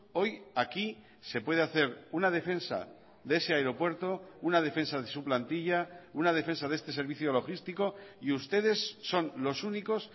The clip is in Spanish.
hoy aquí se puede hacer una defensa de ese aeropuerto una defensa de su plantilla una defensa de este servicio logístico y ustedes son los únicos